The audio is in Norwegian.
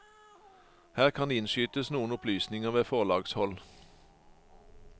Her kan innskytes noen opplysninger ved forlagshold.